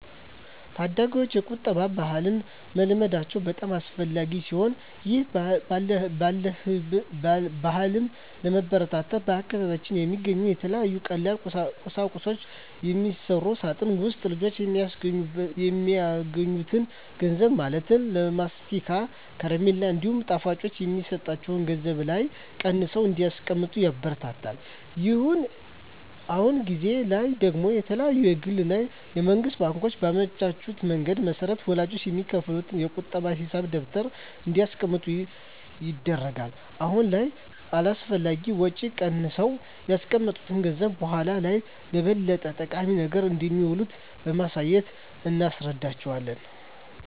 ታዳጊወች የቁጠባ ባህልን መልመዳቸው በጣም አስፈላጊ ሲሆን ይህን ባህልም ለማበረታታት በአካባቢያችን በሚገኙ ከተለያዩ ቀላል ቁሳቁሶች በሚሰራ ሳጥን ውስጥ ልጆች የሚያገኙትን ገንዘብ ማለትም ለማስቲካ፣ ከረሜላ እንዲሁም ሌሎች ጣፋጮች የሚሰጣቸው ገንዘብ ላይ ቀንሰው እንዲያስቀምጡ ይበረታታሉ። አሁን ጊዜ ላይ ደግሞ የተለያዩ የግል እና የመንግስት ባንኮች ባመቻቹት መንገድ መሰረት ወላጆች በሚከፍቱት የቁጠባ ሂሳብ ደብተር እንዲያስቀምጡ ይደረጋል። አሁን ላይ ከአላስፈላጊ ወጪ ቀንሰው ያስቀመጡት ገንዘብ በኃላ ላይ ለበለጠ ጠቃሚ ነገር እንደሚውል በማሳየት እናስረዳቸዋለን።